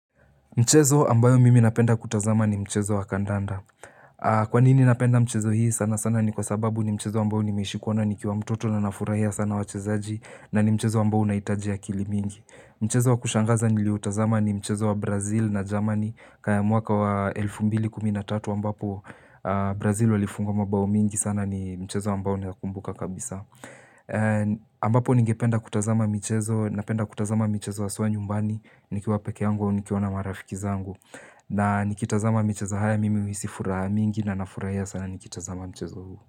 Mchezo ambayo mimi napenda kutazama ni mchezo wa kandanda. Kwa nini napenda mchezo hii sana sana ni kwa sababu ni mchezo ambayo nimeishi kuona nikiwa mtoto na nafurahia sana wachezaji na ni mchezo ambayo unahitaji akili mingi. Mchezo wa kushangaza niliutazama ni mchezo wa Brazil na Germany ya muaka wa 2013 ambapo Brazil walifunga mbao mingi sana ni mchezo ambao naikumbuka kabisa. Ambapo nigependa kutazama mchezo napenda kutazama mchezo wa haswa nyumbani nikiwa peke yangu au nikiwa na marafiki zangu. Na nikitazama mchezo haya mimi uhisi furaha mingi na nafurahia sana nikitazama mchezo huu.